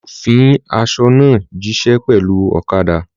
Olú yóò fin aṣọ náà jíṣẹ́ pẹ̀lú ọ̀kadà.